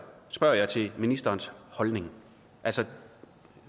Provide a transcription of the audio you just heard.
spørger jeg til ministerens holdning